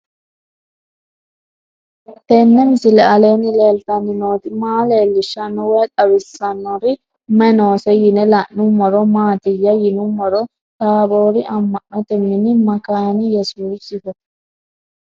Tenni misile aleenni leelittanni nootti maa leelishshanno woy xawisannori may noosse yinne la'neemmori maattiya yinummoro taaborri ama'notte mini makaane yesuusiho